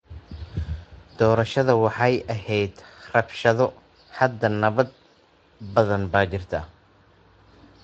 Doorashadu waxay ahayd rabshado. Hadda nabad badan baa jirta.